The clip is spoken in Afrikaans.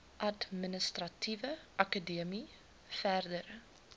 administratiewe akademie verdere